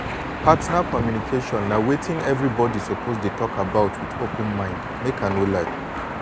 partner communication na wetin everybody suppose to dey talk about with open mind make i no lie